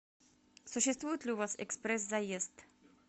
существует ли у вас экспресс заезд